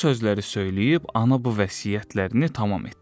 Bu sözləri söyləyib ana bu vəsiyyətlərini tamam etdi.